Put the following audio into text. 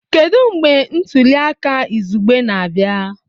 Kedu mgbe ntuli aka izugbe na-abịa?